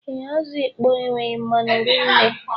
Ee, azụ ịkpọ enweghị mmanu rinne